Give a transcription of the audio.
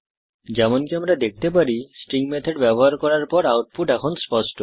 যেমনকি আমরা দেখতে পারি স্ট্রিং মেথড ব্যবহার করার পর আউটপুট এখন স্পষ্ট